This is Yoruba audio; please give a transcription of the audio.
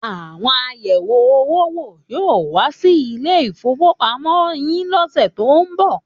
Àwọn ayẹ̀wé-owó wò yóò wá sí ilé-ìfowópamọ́sí yín lọ́sẹ̀ tó ń bọ̀.